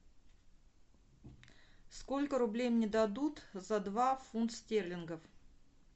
сколько рублей мне дадут за два фунт стерлингов